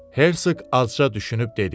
Hersoq azca düşünüb dedi: